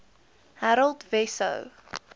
harold wesso